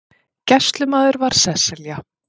Gæslumaður var Sesselja